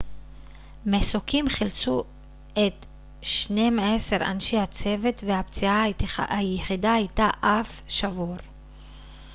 מסוקים חילצו את שנים-עשר אנשי הצוות והפציעה היחידה הייתה אף שבור